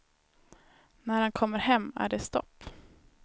När han kommer hem är det stopp.